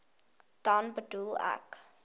dan bedoel ek